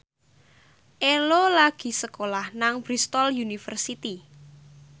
Ello lagi sekolah nang Bristol university